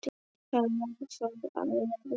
Það varð þó að verða.